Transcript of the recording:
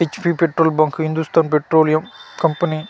HP petrol bunk Hindustan petroleum company .